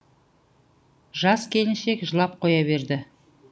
жас келіншек жылап қоя берді